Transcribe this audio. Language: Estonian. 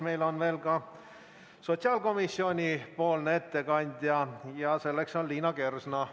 Meil on veel ka sotsiaalkomisjoni ettekandja Liina Kersna.